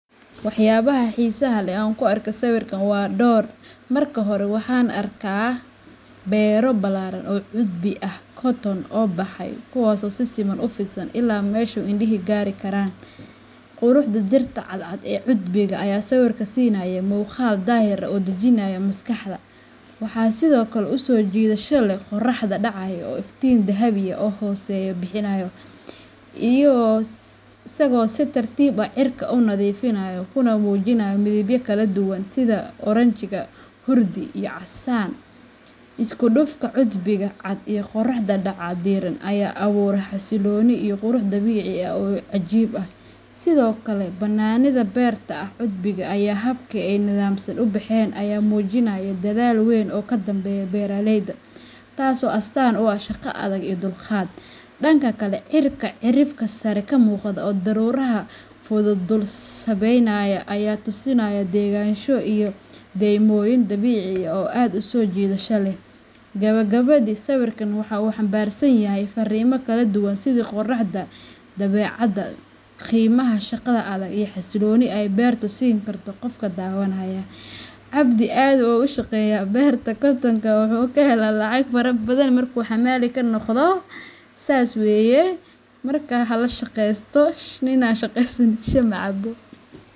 Waxyaabaha xiisaha leh ee aan ku arkay sawirkan waa dhowr. Marka hore, waxaan arkaa beero ballaaran oo cudbi ah cotton oo ubaxay, kuwaas oo si siman u fidsan ilaa meesha indhuhu gaari karaan. Quruxda dhirta cadcad ee cudbiga ayaa sawirka siinaysa muuqaal daahir ah oo dejinaya maskaxda. Waxaa sidoo kale aad u soo jiidasho leh qorrax dhacaya oo iftiin dahabi ah oo hooseeya bixinaya, isagoo si tartiib ah cirka u nadiifinaya kuna muujinaya midabyo kala duwan sida oranji, hurdi iyo casaan. Isku dhafka cudbiga cad iyo qorrax dhaca diirran ayaa abuura xasillooni iyo qurux dabiici ah oo cajiib ah. Sidoo kale, bannaanida beerta cudbiga iyo habka ay si nidaamsan u baxeen ayaa muujinaya dadaal weyn oo ka danbeeya beeraleyda, taasoo astaan u ah shaqo adag iyo dulqaad. Dhanka kale, cirka cirifka sare ka muuqda oo daruuraha fudud dul sabeynayaan ayaa tusinaya degganaansho iyo deymooyin dabiici ah oo aad u soo jiidasho leh. Gabagabadii, sawirkan waxa uu xambaarsan yahay farriimo kala duwan sida quruxda dabeecadda, qiimaha shaqada adag, iyo xasilloonida ay beertu siin karto qofka daawanaya. Abdi aad bu oga shaqeya bertu muxu kahela lacag fara badan, marku xamali kanoqdo sas weye. Marka hala shaqesto nin aan shaqeysan shax macabo.